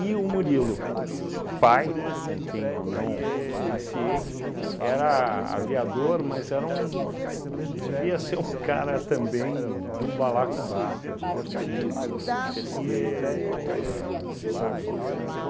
o Murilo, pai com quem eu não vivenciei, era aviador, mas era um puts devia ser um cara também do balacobaco, divertido, festeiro, ahn sabe um?